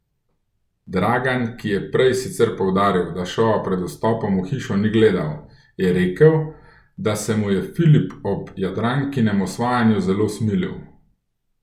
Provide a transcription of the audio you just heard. Dragan, ki je prej sicer poudaril, da šova pred vstopom v hišo ni gledal, je rekel, da se mu je Filip ob Jadrankinem osvajanju zelo smilil.